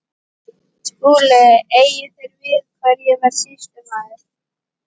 SKÚLI: Eigið þér við hvar ég verði sýslumaður?